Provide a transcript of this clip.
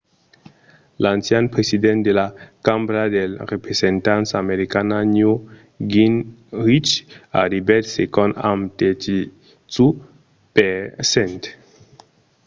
l'ancian president de la cambra dels representants americana newt gingrich arribèt segond amb 32 per cent